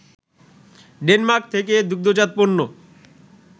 Denmark থেকে দুগ্ধজাত পণ্য